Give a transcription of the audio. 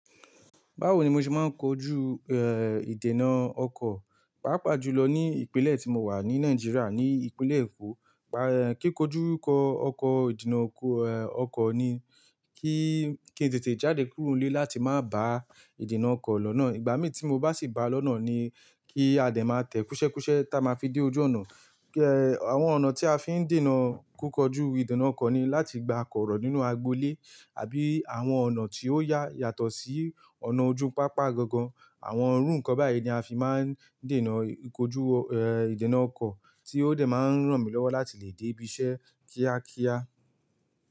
Báwo ni mo ṣe máa ń kojú ìdènà ọkọ̀? Papa jùlọ ní ìpínlẹ̀ tí mo wà ní Nàìjíríà ní ìpínlẹ̀ èkó kí kojú kọ ọkọ ìdènà ọkọ̀ ni kí, kí n tètè jáde kúrò nílé láti má bàa ìdènà ọkọ̀ lọ́nà. Ìgbà mí tí mo bá sì bàá lọ́nà ni kí a dẹ̀ má tẹ̀ kúsẹ́kúsẹ́ ta máa fi dé ojú ọ̀nà. Kí, ẹ, àwọn ọ̀nà tí a fi ń dènà kíkọjú ìdènà ọkọ̀ ni láti gba kooro nínú agbo ilé àbí àwọn ọ̀nà tí ó yà, yàtọ̀ sí ọ̀nà ojú pápá gangan. Àwọn irú nǹkan báyìí ni a fi máa ń dènà ìkójú, ẹ, ìdènà ọkọ̀ tí ó dẹ̀ máa ń ràn mí lọ́wọ́ láti lè dé ibi iṣẹ́ kíákíá.